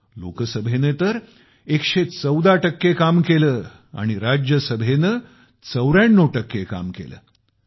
लोकसभेने 114 टक्के काम केले तर राज्यसभेने 94 टक्के काम केले आणि त्याआधी अर्थसंकल्पीय अधिवेशनात जवळपास 135 टक्के काम झाले होते